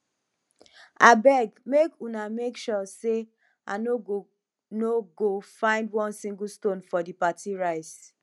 abeg make una make sure say i no go no go find one single stone for the party rice